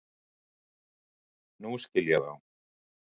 Nú skil ég þá.